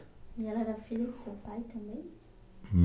E ela era filha do seu pai também?